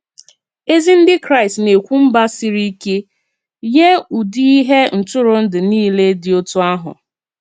Ezi Ndị Kraịst nā-ekwu mba siri ike nye ụdị ihe ntụrụndụ niile dị otú ahụ.